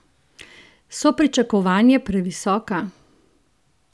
So pričakovanje previsoka?